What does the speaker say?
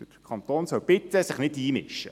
Der Kanton soll sich bitte nicht einmischen.